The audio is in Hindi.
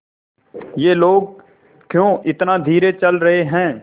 ये लोग क्यों इतना धीरे चल रहे हैं